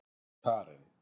Karen